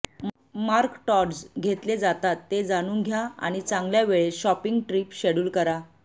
मार्कटॉड्स घेतले जातात ते जाणून घ्या आणि चांगल्या वेळेत शॉपिंग ट्रिप शेड्यूल करा